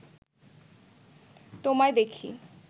তোমায় দেখি